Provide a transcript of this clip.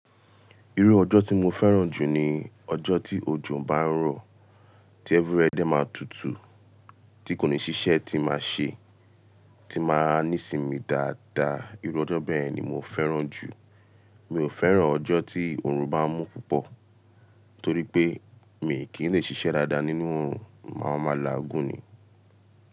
Irú ọjọ́ tí mo fẹ́ràn jù ni ọjọ́ tí òjò ń bá ń rọ̀, tí every where de máa tutù, tí kò ní ṣíṣẹ́ tí máa ṣe, tí máa ní sinmi dáadáa. Irú ọjọ́ bẹ́ẹ̀ ni mo fẹ́ràn jù. Mi ò fẹ́ràn ọjọ́ tí oorun bá n mú púpọ̀ torí pé mi kì í lè ṣiṣẹ́ dáadáa nínú oorun, mo màá maa laagun ni.